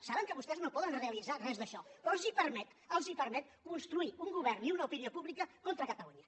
saben que vostès no poden realitzar res d’això però els permet construir un govern i una opinió pública contra catalunya